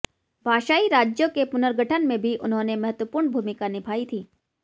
भाषायी राज्यों के पुनर्गठन में भी उन्होंने महत्वपूर्ण भूमिका निभायी थी